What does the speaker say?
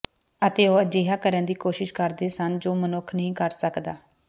ਅਤੇ ਉਹ ਅਜਿਹਾ ਕਰਨ ਦੀ ਕੋਸ਼ਿਸ਼ ਕਰਦੇ ਸਨ ਜੋ ਮਨੁੱਖ ਨਹੀਂ ਕਰ ਸਕਦਾ